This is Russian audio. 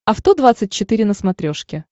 авто двадцать четыре на смотрешке